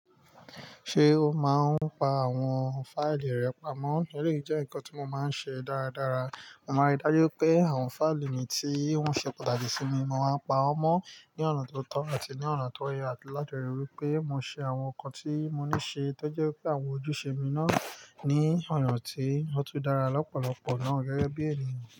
Ṣe o máa ń pa àwọn fáìlì rẹ pamọ́? Eléyìí jẹ ǹkan ti mo máa ń ṣe dáradára. Mo ma ríi dájú pé àwọn fáìlì mi ti wọn ṣe pàtàkì si mi, mo ma pa wọn mọ ni ọ̀nà to tọ àti ni ọ̀nà to yẹ, láti ríi dájú pé mo ṣe àwọn ǹkan ti mo ni ṣe, to jẹ kí àwọn ojúṣe mi náà ni ọyan ti o tu dára lọpọlọpọ náà, gẹgẹbi ènìyàn.